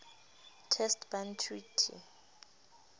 test ban treaty